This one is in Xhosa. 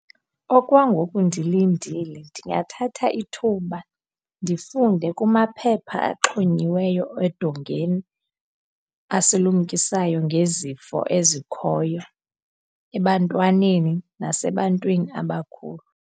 Okwangoku ndilindile ndingathatha ithuba ndifunde kumaphepha axhonyiweyo edongeni asilumkisayo ngezifo ezikhoyo ebantwaneni nasebantwini abakhulu.